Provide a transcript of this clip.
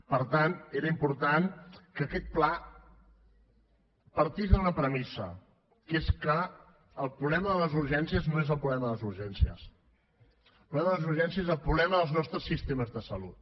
per tant era important que aquest pla partís d’una premissa que és que el problema de les urgències no és el problema de les urgències el problema de les urgències és el problema dels nostres sistemes de salut